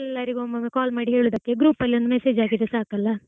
ಎಲ್ಲರಿಗೂ ಒಮ್ಮೊಮ್ಮೆ call ಮಾಡಿ ಕೇಳುವುದಕ್ಕಿಂತ group ಅಲ್ ಒಂದು message ಹಾಕಿದ್ರೆ ಸಾಕಲ್ಲಾ.